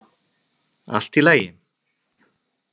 Allt í lagi.